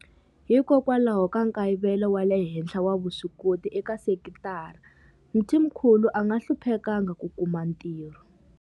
Hikwalaho ka nkayivelo wa le henhla wa vuswikoti eka sekitara, Mthimkhulu a nga hluphekanga ku kuma ntirho.